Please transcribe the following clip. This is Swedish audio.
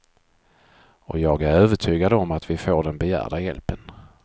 Och jag är övertygad om att vi får den begärda hjälpen.